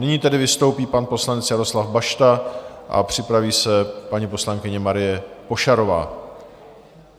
Nyní tedy vystoupí pan poslanec Jaroslav Bašta a připraví se paní poslankyně Marie Pošarová.